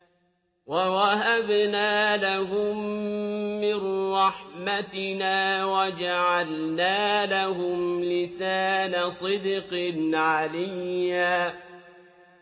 وَوَهَبْنَا لَهُم مِّن رَّحْمَتِنَا وَجَعَلْنَا لَهُمْ لِسَانَ صِدْقٍ عَلِيًّا